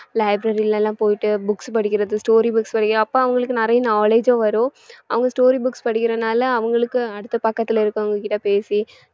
library ல எல்லாம் போயிட்டு books படிக்கிறது story books படிக்கிறது அப்ப அவங்களுக்கு நிறைய knowledge உம் வரும் அவங்க story books படிக்கிறனால அவங்களுக்கு அடுத்த பக்கத்துல இருக்கறவங்ககிட்ட பேசி